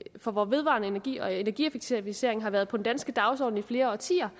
for hvor vedvarende energi og energieffektiviseringer har været på den danske dagsorden i flere årtier